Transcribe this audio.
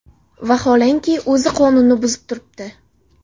Vaholanki, o‘zi qonunni buzib turibdi.